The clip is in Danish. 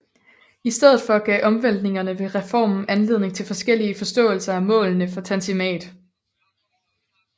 I stedet for gav omvæltningerne ved reformen anledning til forskellige forståelser af målene for Tanzimat